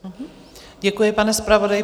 Děkuji, pane zpravodaji.